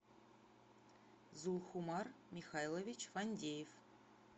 зулхумар михайлович фандеев